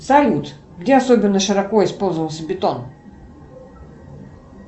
салют где особенно широко использовался бетон